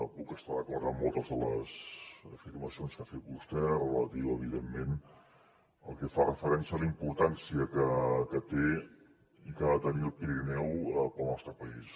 puc estar d’acord amb moltes de les afirmacions que ha fet vostè relatives evidentment al que fa referència a la importància que té i que ha de tenir el pirineu per al nostre país